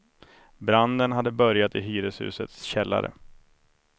Branden hade börjat i hyreshusets källare.